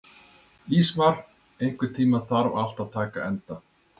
Ísmar, einhvern tímann þarf allt að taka enda.